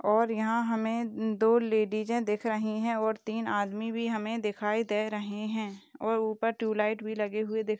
और यहा हमे द दो लेडीजे दिख रही है और तीन आदमी भी हमे दिखाई दे रहे है और उपर ट्यूबलाइट भी लगे हुए दिख --